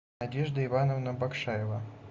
надежда ивановна бакшаева